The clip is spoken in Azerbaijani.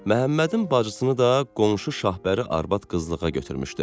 Məhəmmədin bacısını da qonşu Şahbəri arvad qızlığa götürmüşdü.